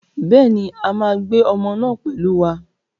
Bẹ́ẹ̀ ni, a máa gbé ọmọ náà pẹ̀lú wa.